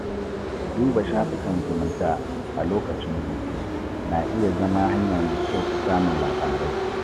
Duba shafukan sada zumunta a lokacin hutu na iya zama hanya mai kyau ta samun labarai.